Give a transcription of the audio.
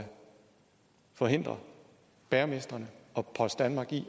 forhindre bagermestrene og post danmark i